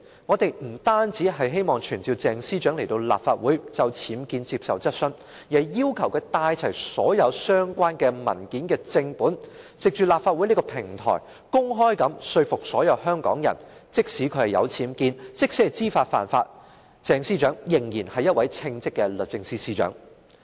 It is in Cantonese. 我們不單希望傳召鄭司長到立法會就僭建接受質詢，更要求她帶齊所有相關文件的正本，藉立法會這個平台，公開說服所有香港人，她即使有僭建，即使知法犯法，仍然是一位稱職的律政司司長。